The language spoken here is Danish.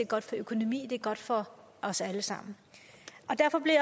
godt for økonomien det er godt for os alle sammen og derfor bliver